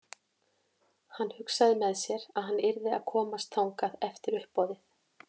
Hann hugsaði með sér að hann yrði að komast þangað eftir uppboðið.